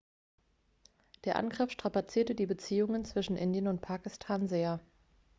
der angriff strapazierte die beziehungen zwischen indien und pakistan sehr